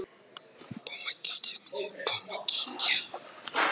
Ég er búinn að vera átta ár í þessu og það er ágætis tími.